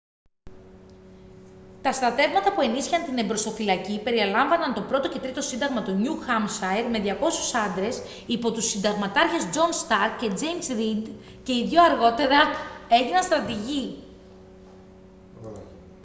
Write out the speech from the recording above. τα στρατεύματα που ενίσχυαν την εμπροσθοφυλακή περιελάμβαναν το 1ο και 3ο σύνταγμα του νιου χάμσαϊρ με 200 άντρες υπό τους συνταγματάρχες τζον σταρκ και τζέιμς ρηντ και οι δύο αργότερα έγιναν στρατηγοί